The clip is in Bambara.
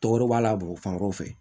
Tɔgɔ b'a la bɔn fan wɛrɛw fɛ